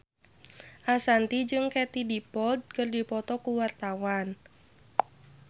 Ashanti jeung Katie Dippold keur dipoto ku wartawan